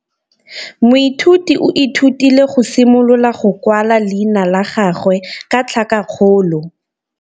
Moithuti o ithutile go simolola go kwala leina la gagwe ka tlhakakgolo.